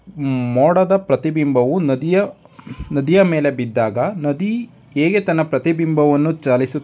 ಮೂಡದ ಪ್ರತಿ ಬಿಂಬವು ನದಿಯ ನದಿಯ ಮೇಲೆ ಬಿದ್ದಾಗ ನದಿ ಹೇಗೆ ತನ್ನ ಪ್ರತಿ ಬಿಂಬವು ಚಲಿಸೋ --